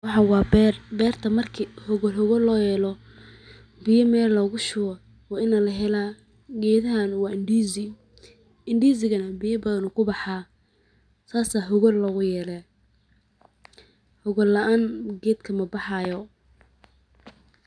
Waxan waa beer ,beerta marki hogalhogal looyelo biyaha logashubo waa in lahela geedhahan waa ndizi ,ndizi ga neh biya badha uu kubaxa saas aya hogal looguyele hogol laan geedka mabaxaayo.